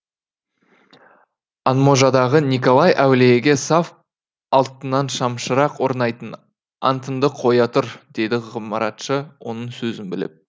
анможадағы николай әулиеге саф алтыннан шамшырақ орнатайын антыңды қоя тұр деді ғымаратшы оның сөзін бөліп